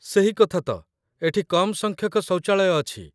ସେହି କଥାତ, ଏଠି କମ୍ ସଂଖ୍ୟକ ଶୌଚାଳୟ ଅଛି।